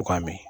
U k'a mɛn